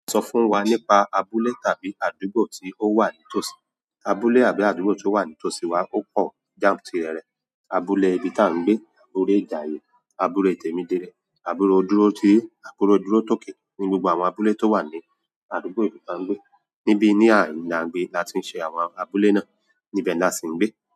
Sọ fún wa nípa abúlé tàbí àdúgbò tí ó wà nítòsí abúlé àbí àdúgbò tí ó wà nítòsí wa ó pọ̀ jáǹtìrẹrẹ. Abúlé ibi tan gbé, Ore Ijaye, Abule Temidire, Abule Oduroti---Abule Durotoke ni gbogbo àwọn Abule tó wà ní àdúgbò ibi tan gbé níbi ní à ń la ń gbé la ti ń ṣe àwọn abúlé náà, íbẹ̀ la sì ń gbé.